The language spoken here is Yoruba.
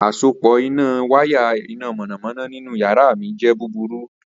Asopọ waya ina mọnamọna ninu yara mi jẹ buburu.